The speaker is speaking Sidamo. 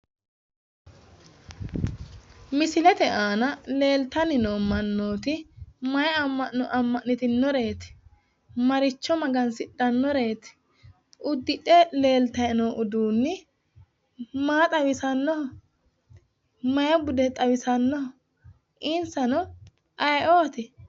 Misilete aana leelitanni noo mannooti mayi amma'no amma'nitinoreeti? Maricho maga'nitannoreet? Uddidhe leelitay noo uduunni maa xawisannoho? Mayi bude xawisannoho? Inisanno ayi"ooti?